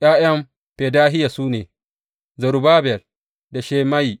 ’Ya’yan Fedahiya su ne, Zerubbabel da Shimeyi.